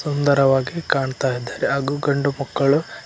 ಸುಂದರವಾಗಿ ಕಾಣ್ತಾ ಇದ್ದಾರೆ ಹಾಗು ಗಂಡು ಮಕ್ಕಳು--